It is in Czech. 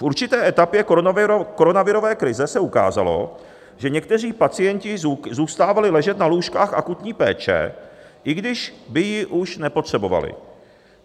V určité etapě koronavirové krize se ukázalo, že někteří pacienti zůstávali ležet na lůžkách akutní péče, i když by ji už nepotřebovali.